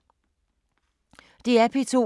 DR P2